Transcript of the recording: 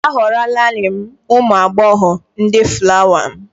A họrọlarị m ụmụ agbọghọ ndị fulawa m